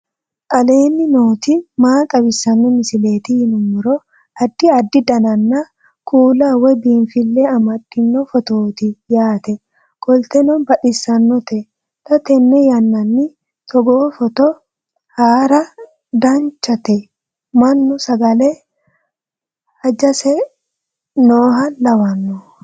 aleenni nooti maa xawisanno misileeti yinummoro addi addi dananna kuula woy biinfille amaddino footooti yaate qoltenno baxissannote xa tenne yannanni togoo footo haara danchate manchu sagale hajace nooha lawanno